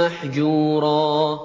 مَّحْجُورًا